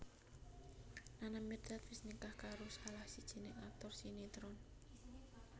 Nana Mirdad wis nikah karo salah sijiné aktor sinetron